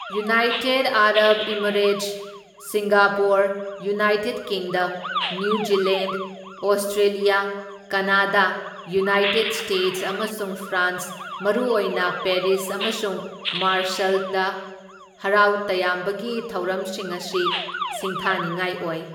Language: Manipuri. United Arab Emirates, Singapore, United Kingdom, New Zealand, Australia, Canada, United States ꯑꯃꯁꯨꯡ ꯐ꯭ꯔꯥꯟꯁ ꯃꯔꯨꯑꯣꯏꯅ ꯄꯦꯔꯤꯁ ꯑꯃꯁꯨꯡ ꯃꯥꯔꯁꯩꯜ ꯗ ꯍꯔꯥꯎ ꯇꯌꯥꯝꯕꯒꯤ ꯊꯧꯔꯝꯁꯤꯡ ꯑꯁꯤ ꯁꯤꯡꯊꯥꯅꯤꯉꯥꯏ ꯑꯣꯏ꯫